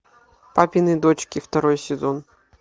папины дочки второй сезон